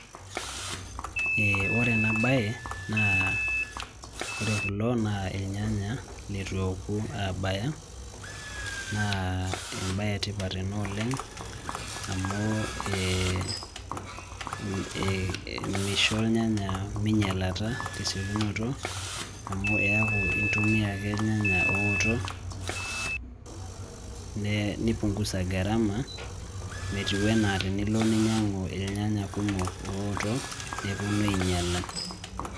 Ee ore ena baye naa ore kulo naa ilnyanya litu eoku aabaya naa embaye etipat ena oleng' amu ee misho ilnyanya minyialata tesiekinoto amu eeku intumia ake ilnyanya ooto nipungusa gharama metiu enaa tenilo ninyiang'u ilnyanya kumok ooto neponu ainyiala.